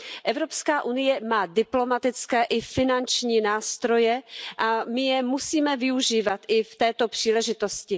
Evropská unie má diplomatické i finanční nástroje a my je musíme využívat i k této příležitosti.